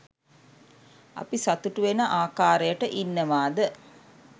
අපි සතුටු වෙන ආකාරයට ඉන්නවාද